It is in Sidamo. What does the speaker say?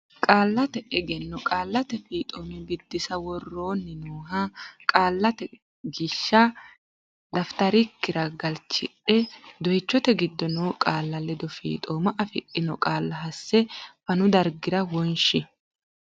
Qaallate Egenno Qaallate Fiixooma Biddissa Woroonni nooha qaallate gishsha dafitarikkira galchidhe doychote giddo noo qaalla ledo fiixooma afidhino qaalla hasse fanu dargira wonshi.